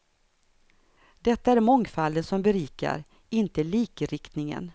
Det är mångfalden som berikar, inte likriktningen.